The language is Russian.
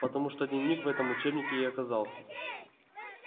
потому-то дневник в этом учебнике и оказался